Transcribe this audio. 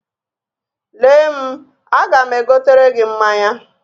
Lee m, aga m egotere gị mmanya.